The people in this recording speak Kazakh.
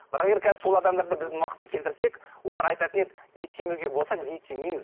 бірақ енді сол адамдарды біздің уақытқа келтірсек олар айтатын еді ет жемеуге болса біз ет жемейміз